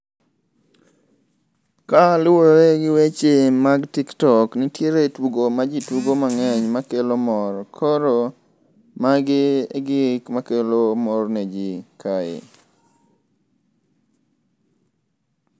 Ka luwore gi weche mag TikTok, nitiere tugo majitugo mang'eny makelo mor. Koro magi gik makelo mor neji kae.